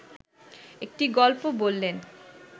একটি গল্প বললেন